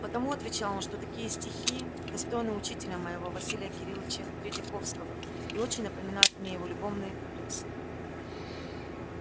потому отвечал он что такие стихи достойны учителя моего василия кирилыча тредьяковского и очень напоминают мне его любовные куплетцы